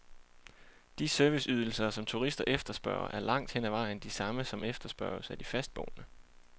De serviceydelser, som turister efterspørger, er langt hen ad vejen de samme, som efterspørges af de fastboende.